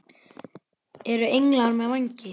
Eru englar með vængi?